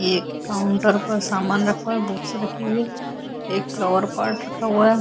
एक काउंटर पर सामान रखा हुआ है । बुक्स रखी हुई हैं । एक फ्लावर पॉट रखा हुआ है ।